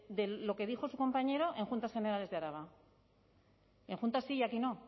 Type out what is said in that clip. de lo que dijo su compañero en juntas generales de araba en juntas sí y aquí no